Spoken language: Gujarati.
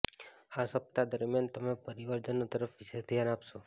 આ સપ્તાહ દરમિયાન તમે પરિવારજનો તરફ વિશેષ ધ્યાન આપશો